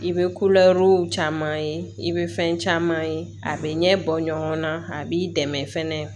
I bɛ caman ye i bɛ fɛn caman ye a bɛ ɲɛ bɔ ɲɔgɔn na a b'i dɛmɛ fɛnɛ